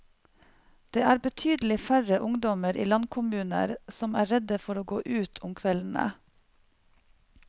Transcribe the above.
Det er betydelig færre ungdommer i landkommuner som er redde for å gå ut om kveldene.